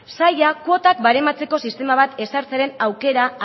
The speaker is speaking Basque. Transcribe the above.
sailak kuotak barematzeko sistema bat ezartzearen aukera